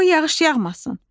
Qoy yağış yağmasın.